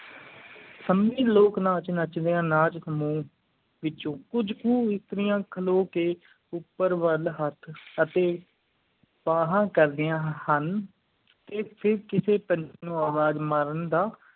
ਸੰਮੀ ਲੋਕ ਨੱਚਦਿਆਂ ਨਾਚ ਨੂੰ ਕੁਛ ਕੂ ਇਸਤਰੀਆਂ ਖਲੋ ਕ ਉਪਰ ਵੱਲ ਹੇਠ ਅਤਿ ਬਾਹਾਂ ਕਰਦਿਆਂ ਹਨ ਆ ਫੇਰ ਕਿਸੀ ਪੰਛੀ ਨੂੰ ਆਵਾਜ਼ ਮਾਰਨ ਦਾ